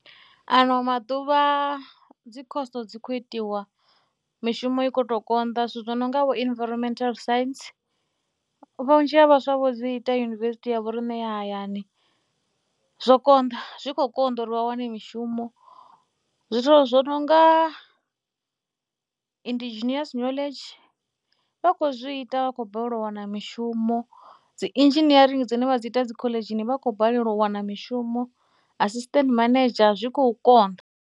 Ano maḓuvha dzi khoso dzi khou itiwa mishumo i khou tou konḓa. Zwithu zwo no nga vho inviromental science, vhunzhi ha vhaswa vho dzi ita yunivesithi ya vhoriṋe ya hayani. Zwo konḓa, zwi khou konḓa uri vha wane mishumo, zwithu zwo no nga indigeneous knowledge vha khou zwi ita vha khou balelwa u wana mishumo. Dzi Engineering dzine vha dzi ita dzi khoḽedzhini vha khou balelwa u wana mishumo, assistant manager, zwi khou konḓa.